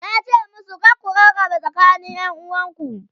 yace musu "kar ku rarraba tsakanin ƴanuwa!"